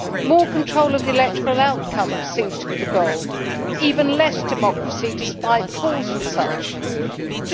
More control of the electoral outcome seems to be the goal even less democracy, despite the calls for it.